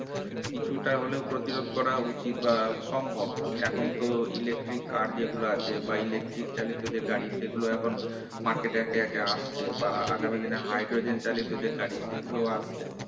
কিছুটা হলেও প্রতিরোধ করা উচিত বা সম্ভব এখন তো electric car যেগুলো আছে বা electric চালিত যে গাড়ি সেগুলো এখন market এ একে একে আসছে বা আগামী দিনে হাইড্রোজেন চালিত গাড়ি সেগুলো আসবে